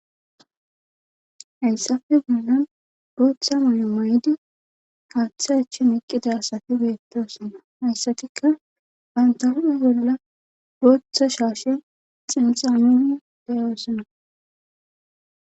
hayssafe guunan gooththa mayo may7di kaathe achen eqqida asati weyettosonna hayssatikka bantahu7e bolola gooththa shaashe xinxamini deyoosonna